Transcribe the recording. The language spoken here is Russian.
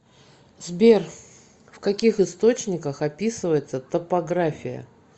сбер в каких источниках описывается топография